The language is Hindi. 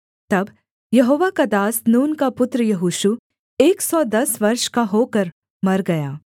तब यहोवा का दास नून का पुत्र यहोशू एक सौ दस वर्ष का होकर मर गया